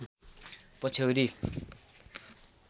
पछ्यौरी